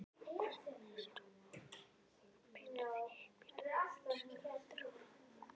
Hann kveinkaði sér og pírði augun skelfdur á hana.